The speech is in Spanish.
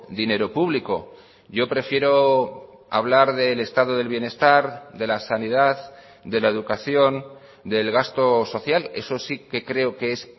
dinero público yo prefiero hablar del estado del bienestar de la sanidad de la educación del gasto social eso sí que creo que es